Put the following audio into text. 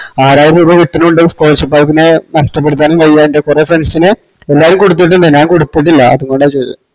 ആറായിരം രൂപ കിട്ടണത്തുകൊണ്ട് scholarship ആയിറ്റ് പിന്നെ നഷ്ട്ടപെടുത്താനുംവയ്യ എന്റെ കൊറേ friends ന് എല്ലാരും കൊടുത്തിട്ടുണ്ട് ഞാൻ കൊടുത്തിട്ടില്ല അതുകൊണ്ടചോയ്ച്ചത്